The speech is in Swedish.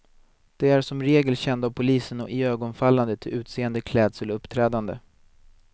De är som regel kända av polisen och iögonfallande till utseende, klädsel och uppträdande.